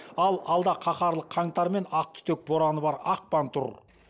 ал алда қаһарлы қаңтар мен ақ түтек бораны бар ақпан тұр